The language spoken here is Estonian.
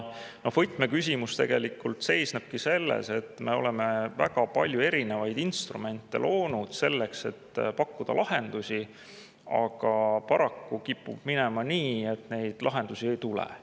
Võtmeküsimus tegelikult seisnebki selles, et me oleme loonud väga palju erinevaid instrumente, et pakkuda lahendusi, aga paraku kipub minema nii, et neid lahendusi ei tule.